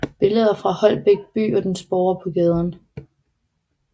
Billeder fra Holbæk by og dens borgere på gaden